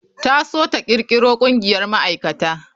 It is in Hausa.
Ta so ta kirkiro ƙungiyar ma'aikata.